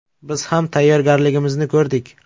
Biz ham tayyorgarligimizni ko‘rdik.